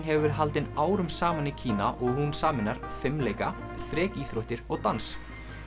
hefur verið haldin árum saman í Kína og hún sameinar fimleika og dans